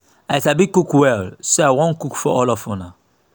i sabi cook well so i wan cook for all of una